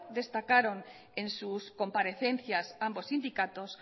destacaron en sus comparecencias ambos sindicatos